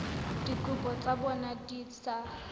dikopo tsa bona di sa